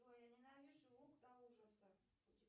джой я ненавижу лук до ужаса